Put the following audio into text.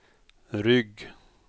rygg